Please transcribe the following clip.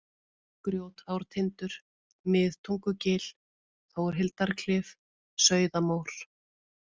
Grjótártindur, Miðtungugil, Þórhildarklif, Sauðamór